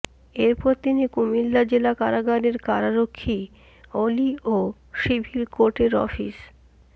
এরপর তিনি কুমিল্লা জেলা কারাগারের কারারক্ষী অলি ও সিভিল কোর্টের অফিস